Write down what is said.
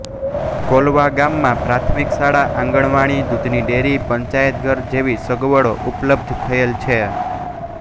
કોલવા ગામમાં પ્રાથમિક શાળા આંગણવાડી દુધની ડેરી પંચાયતઘર જેવી સગવડો ઉપલબ્ધ થયેલ છે